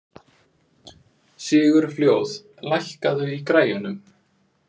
Sigurfljóð, lækkaðu í græjunum.